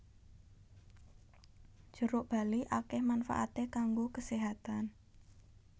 Jeruk bali akèh manfaaté kanggo keséhatan